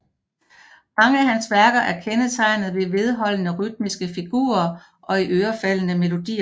Mange af hans værker er kendetegnet af vedholdende rytmiske figurer og iørefaldende melodier